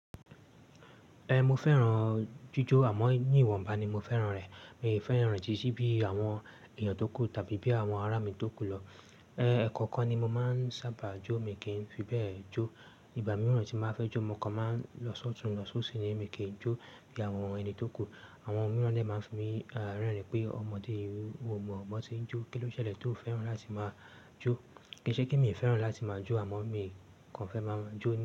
Ẹ̀, mo fẹ́ràn jíjó àmọ́ ní ìwọ̀nba ni mo fẹ́ràn rẹ̀. Mi ò fẹ́ràn títí bí àwọn èèyàn tó kù tàbí bí àwọn ará mi tó kù lọ. Ẹ̀kọ̀ọ̀kan ni mo máa ń sábà jó, mi kì í fi bẹ́ẹ̀ jó. Ìgbà mìíràn tí màá fẹ́ jó, mọ kan máa ń lọsọ̀tún lọsọ̀ọ́sí ní mi kì í jó bí àwọn ẹni tó kù. Àwọn mìíràn dè máa ń fi mí rẹ́rìn-ín pé ọmọdé yẹn ò mọ bo tí ń jó. Kí ló ṣẹlẹ̀ tí ò fẹ́ràn láti máa jó? Kì í ṣe kí mi fẹ́ràn láti máa jó àmọ́ mi kàn fẹ́ máa jó.